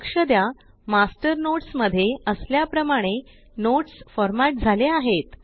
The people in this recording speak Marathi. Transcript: लक्ष द्या मास्टर नोट्स मध्ये असल्याप्रमाणे नोट्स फॉरमॅट झाले आहेत